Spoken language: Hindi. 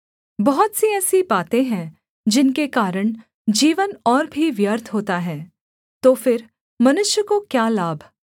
बहुत सी ऐसी बातें हैं जिनके कारण जीवन और भी व्यर्थ होता है तो फिर मनुष्य को क्या लाभ